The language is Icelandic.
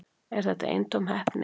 Er þetta eintóm heppni